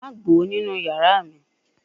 Ma gbo ninu iyara mi